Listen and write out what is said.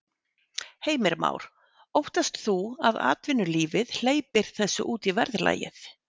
Heimir Már: Óttast þú að atvinnulífið hleypir þessu út í verðlagið?